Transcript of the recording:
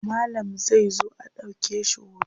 Malam zai zo a ɗauke shi hoto.